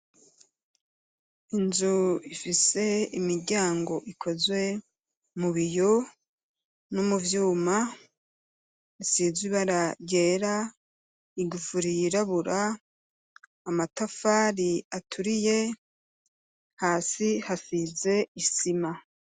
inzu ifise imiryango ikozwe mubiyo n'umuvyuma isizwe ibara ryera igufuri yirabura amatafari aturiye hasi hasize isima.